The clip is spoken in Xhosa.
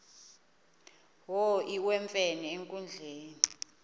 wo iwemfene enkundleni